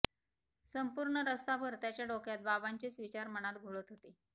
संपूर्ण रस्ताभर त्याच्या डोक्यात बाबांचेच विचार मनात घोळत होते